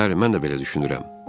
Bəli, mən də belə düşünürəm.